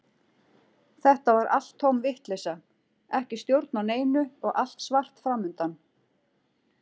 Þetta var allt tóm vitleysa, ekki stjórn á neinu og allt svart fram undan.